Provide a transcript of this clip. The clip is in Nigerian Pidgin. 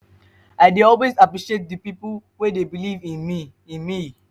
i dey always appreciate di pipo wey dey believe in me. in me.